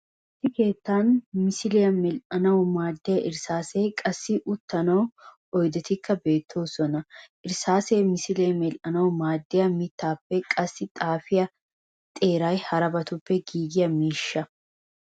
Issi keettana misiiliya medhdhanawu maaddiya irssaseenne qassi uttanawu oydetikka beettoosona. Irssaasee misiliyaa medhdhanawu maaddiya mittaappenne qassi xaafiya xeeray harabatun giigiya miishsha.